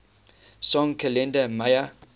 song kalenda maya